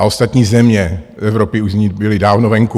A ostatní země Evropy už z ní byly dávno venku.